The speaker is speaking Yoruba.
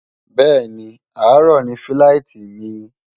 bẹ́ẹ̀ni, àárọ̀ ni fíláìtí mi